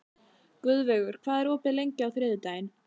Guðveigur, hvað er opið lengi á þriðjudaginn?